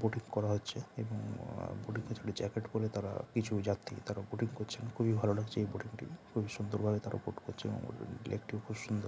Boating করা হচ্ছে এবং আ বোটিং -এ খালি জ্যাকেট পরে তাঁরা কিছু যাত্রী তারা বোটিং করছেন। খুবই ভালো লাগছে এই বোটিং -টি। খুবই সুন্দর ভাবে তারা বোট করছে এবং লেকটি -ও খুব সুন্দর।